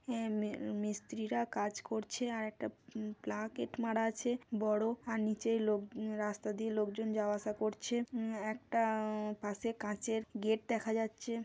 এই মি মিস্ত্রীরা কাজ করছে আর একটা প্লা কেট মারা আছে বড়। আর নীচে লোক রাস্তা দিয়ে লোক জন যাওয়া আসা করছে। একটা-আ পাশে কাঁচের গেট দেখা যাচ্ছে।